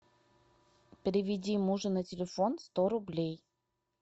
переведи мужу на телефон сто рублей